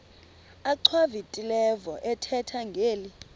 achwavitilevo ethetha ngeli